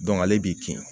ale b'i kin